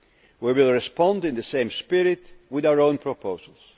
China. We will respond in the same spirit with our own proposals.